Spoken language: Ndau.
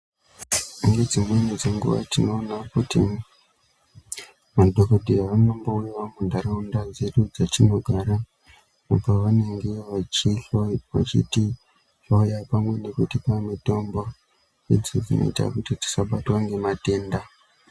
Pane dzimweni dzenguwa, tinoona kuti, madhokodheya anombouyawo muntharaunda dzedu dzatinogara, kubva vaningira vachitihloya pamwe nekutipa mitombo, idzo dzinoita kuti tisabatwa ngematenda.